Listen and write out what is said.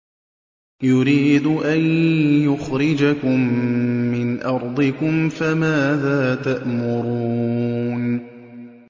يُرِيدُ أَن يُخْرِجَكُم مِّنْ أَرْضِكُمْ ۖ فَمَاذَا تَأْمُرُونَ